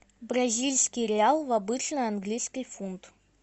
бразильский реал в обычный английский фунт